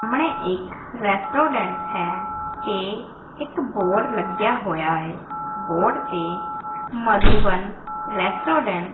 ਸਾਹਮਣੇ ਇੱਕ ਰੈਸਟੂਰੈਂਟ ਹੈ ਤੇ ਇੱਕ ਬੋਰਡ ਲੱਗਿਆ ਹੋਇਆ ਏ ਬੋਰਡ ਤੇ ਮਧੂਬਨ ਰੈਸਟੂਰੈਂਟ --